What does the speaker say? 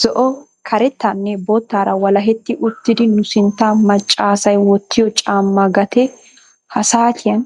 zo''o, karettanne, boottara walahetti uttidi nu sintta macca asay wottiyo caamma gatee ha saatiyan